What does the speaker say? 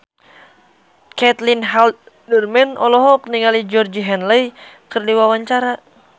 Caitlin Halderman olohok ningali Georgie Henley keur diwawancara